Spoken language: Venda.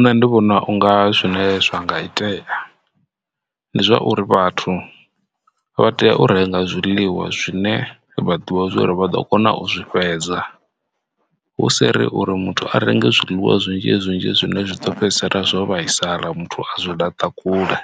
Nṋe ndi vhona unga zwine zwa nga itea ndi zwauri vhathu vha tea u renga zwiḽiwa zwine vha ḓivha zwa uri vha ḓo kona u zwi fhedza hu si ri uri muthu a renge zwiḽiwa zwinzhi zwinzhi zwine zwi do fhedzisela zwo vhaisala muthu a zwo laṱa kule.